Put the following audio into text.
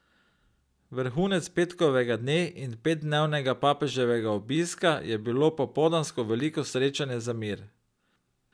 Vrhunec petkovega dne in petdnevnega papeževega obiska je bilo popoldansko veliko srečanje za mir.